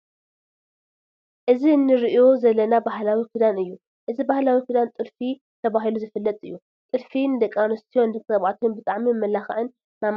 እዚ እንርእዩ ዘለና ባህላዊ ክዳን እዩ። እዚ ባህላዊ ክዳን ጥልፉ ተባሂሉ ዝፍለጥ እዩ። ጥልፊ ን ደቂ ኣንሰትዮን ንደቂ ተባዕትዮን ብጣዕሚ መመላክዕን መማዕረገን እዩ።